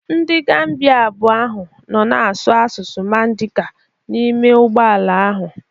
Ndị Gambia abụọ ahụ nọ na-asụ asụsụ Mandinka n'ime ụgbọ ala ahụ